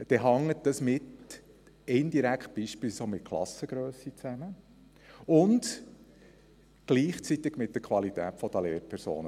Diese Zahlen hängen indirekt mit der Klassengrösse zusammen und gleichzeitig mit der Qualität der Lehrpersonen.